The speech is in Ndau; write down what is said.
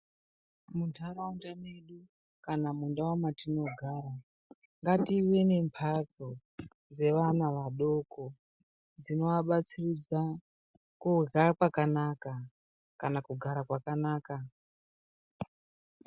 Muntaraunda medu kana mundau matinogara ngative nembatso dzevana vadoko dzinovabatsiridza kurya kwakanaka kana kugara kwakanaka.